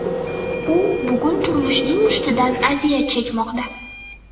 U bugun turmushning mushtidan aziyat chekmoqda.